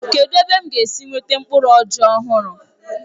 Kedụ ebe m ga-esi nweta mkpụrụ ọjị ọhụrụ.